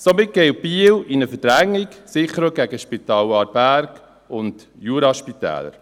Somit geht Biel in eine Verdrängung, sicher auch gegen das Spital Aarberg und die Juraspitäler.